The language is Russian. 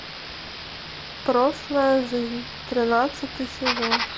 прошлая жизнь тринадцатый сезон